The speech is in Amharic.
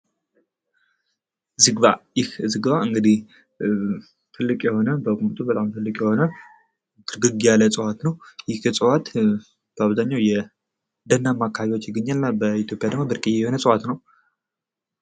ዝግባ ይህ ዝግባ እንግዲህ ትልቅ የሆነ በቁመቱ ትልቅ የሆነ ጥቅጥቅ ያለ እፅዋት ነዉ። ይህ እፅዋት በአብዋኛዉ ደናማ የሆነ አካባቢዎች ላይ ይገኛል። እና ደግሞ በኢትዮጵያ ብርቅየ የሆነ እፅዋት ነዉ።